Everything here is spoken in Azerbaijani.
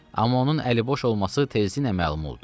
Amma onun əliboş olması tezliklə məlum oldu.